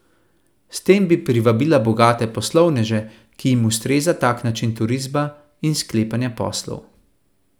S tem bi privabila bogate poslovneže, ki jim ustreza tak način turizma in sklepanja poslov.